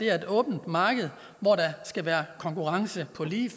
er et åbent marked hvor der skal være konkurrence på lige